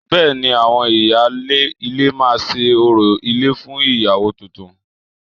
Bẹ́ẹ̀ ni, àwọn ìyáálé ilé máa ṣe orò ilé fún ìyàwó tuntun